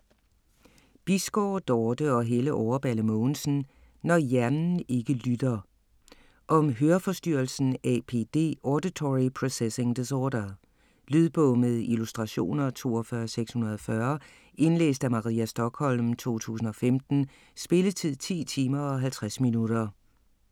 Bisgaard, Dorte og Helle Overballe Mogensen: Når hjernen ikke lytter Om høreforstyrrelsen APD - auditory processing disorder. Lydbog med illustrationer 42640 Indlæst af Maria Stokholm, 2015. Spilletid: 10 timer, 50 minutter.